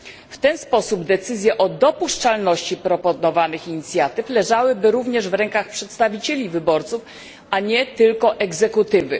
W ten sposób decyzje o dopuszczalności proponowanych inicjatyw leżałyby również w rękach przedstawicieli wyborców, a nie tylko egzekutywy.